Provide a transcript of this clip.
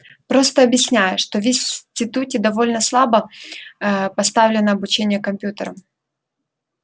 просто объясняю что в институте довольно слабо поставлено обучение компьютерам